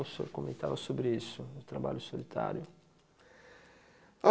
O senhor comentava sobre isso, o trabalho solitário.